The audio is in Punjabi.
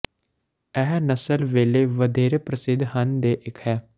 ਇਹ ਨਸਲ ਵੇਲੇ ਵਧੇਰੇ ਪ੍ਰਸਿੱਧ ਹਨ ਦੇ ਇੱਕ ਹੈ